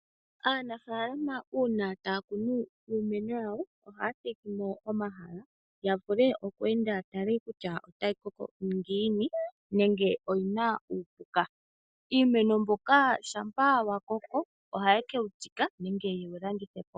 Aanafaalama uuna taya kunu iimeno, ohaya dhigi mo omahala gwoku enda ya vule okweeenda, ya tale kutya otayi koko ngini nenge oyina uupuka . Iimeno mbyoka Shampa ya koko, ohaye ke wu tsika nenge ye kewu landithe po.